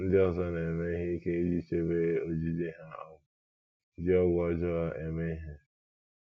Ndị ọzọ na - eme ihe ike iji chebe ojiji ha um ji ọgwụ ọjọọ eme ihe.